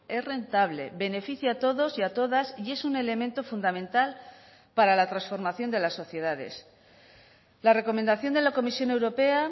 es rentable beneficia a todos y a todas y es un elemento fundamental para la transformación de las sociedades la recomendación de la comisión europea